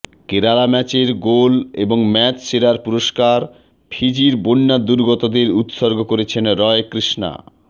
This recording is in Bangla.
কেরালা ম্যাচের গোল এবং ম্যাচ সেরার পুরস্কার ফিজির বন্যা দুর্গতদের উৎসর্গ করছেন রয় কৃষ্ণা